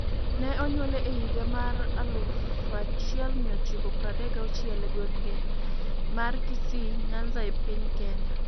Ne onyuole e higa mar 1936 e gweng' mar Kisii, Nyanza e piny Kenya.